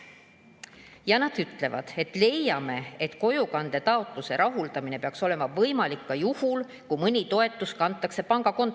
" Ja nad ütlevad: "Leiame, et kojukande taotluse rahuldamine peaks olema võimalik ka juhul, kui mõni toetus kantakse pangakontole.